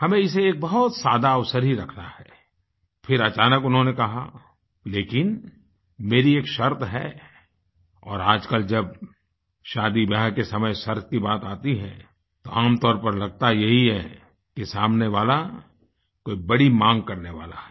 हमें इसे एक बहुत सादा अवसर ही रखना है फिर अचानक उन्होंने कहा लेकिन मेरी एक शर्त है और आजकल जब शादीब्याह के समय शर्त की बात आती है तो आमतौर पर लगता यही है कि सामने वाला कोई बड़ी माँग करने वाला है